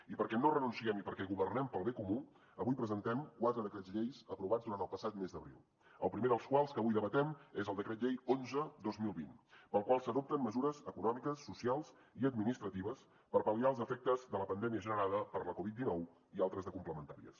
i perquè no hi renunciem i perquè governem per al bé comú avui presentem quatre decrets llei aprovats durant el passat mes d’abril el primer dels quals que avui debatem és el decret llei onze dos mil vint pel qual s’adopten mesures econòmiques socials i administratives per pal·liar els efectes de la pandèmia generada per la covid dinou i altres de complementàries